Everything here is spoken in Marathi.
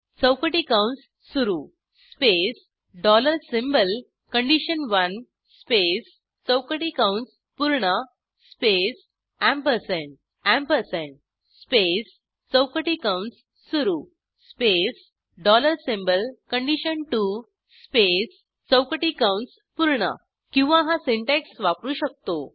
चौकटी कंस सुरू space dollar symbol condition one space चौकटी कंस पूर्ण स्पेस एम्परसँड एम्परसँड स्पेस चौकटी कंस सुरू space dollar symbol condition two space चौकटी कंस पूर्ण किंवा हा सिंटॅक्स वापरू शकतो